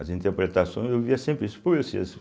As interpretações, eu ouvia sempre isso pô esse esse.